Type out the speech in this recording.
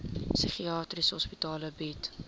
psigiatriese hospitale bied